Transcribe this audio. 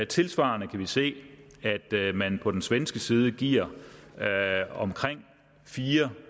tilsvarende kan vi se at man på den svenske side giver omkring fire